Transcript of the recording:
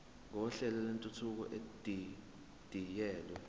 kohlelo lwentuthuko edidiyelwe